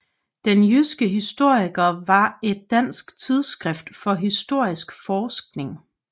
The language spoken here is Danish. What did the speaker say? Den jyske historiker var et dansk tidsskrift for historisk forskning